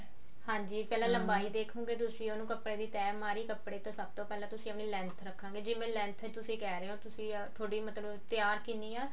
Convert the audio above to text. ਹਾਂਜੀ ਪਹਿਲਾਂ ਲੰਬਾਈ ਦੇਖੋਂਗੇ ਤੁਸੀਂ ਉਹਨੂੰ ਕੱਪੜੇ ਦੀ ਤਿਹ ਮਾਰੀ ਕੱਪੜੇ ਤੇ ਸਭ ਤੋਂ ਪਹਿਲਾਂ ਤੁਸੀਂ ਆਪਣੀ length ਰੱਖਾਂਗੇ ਜਿਵੇਂ length ਤੁਸੀਂ ਕਿਹ ਰਹੇ ਹੋ ਥੋਡੀ ਮਤਲਬ ਤਿਆਰ ਕਿੰਨੀ ਆ